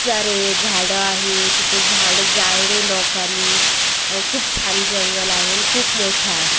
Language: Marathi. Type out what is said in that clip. सारे झाडं आहेत तिथं झाडं जाळले लोकांनी अं खूप छान जंगल आहे आणि खूप मोठा आहे.